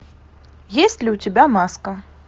есть ли у тебя маска